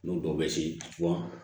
N'u dɔw bɛ se